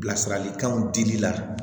Bilasiralikanw dili la